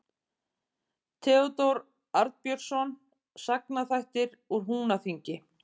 Theódór Arnbjörnsson: Sagnaþættir úr Húnaþingi.